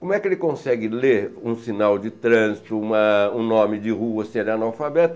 Como é que ele consegue ler um sinal de trânsito, uma um nome de rua se ele é analfabeto?